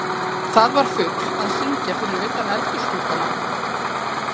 Það var fugl að syngja fyrir utan eldhúsgluggann áðan.